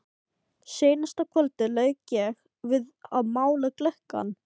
Seinasta kvöldið lauk ég við að mála gluggann.